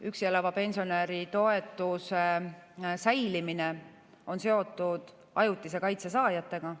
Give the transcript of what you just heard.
Üksi elava pensionäri toetuse säilimine on seotud ajutise kaitse saajatega.